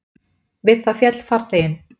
Við það féll farþeginn